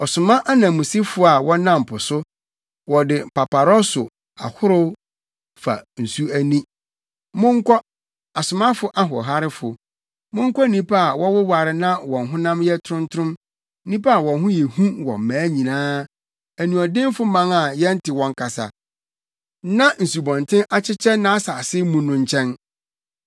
ɔsoma ananmusifo a wɔnam po so wɔde paparɔso akorow fa nsu ani. Monkɔ, asomafo ahoɔharefo, monkɔ nnipa a wɔwoware na wɔn honam yɛ trontrom, nnipa a wɔn ho yɛ hu wɔ mmaa nyinaa, anuɔdenfo man a yɛnte wɔn kasa, na nsubɔnten akyekyɛ nʼasase mu no nkyɛn.